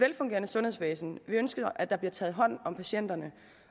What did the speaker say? velfungerende sundhedsvæsen vi ønsker at der bliver taget hånd om patienterne